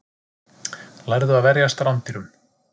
Lærðu að verjast rándýrum